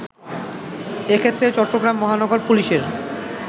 এক্ষেত্রে চট্টগ্রাম মহানগর পুলিশের